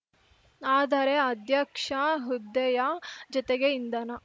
ಆದರೆ ಅಧ್ಯಕ್ಷ ಹುದ್ದೆಯ ಜತೆಗೆ ಇಂಧನ